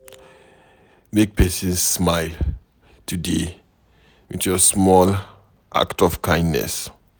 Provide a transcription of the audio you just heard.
Make pesin smile today with your small act of kindness.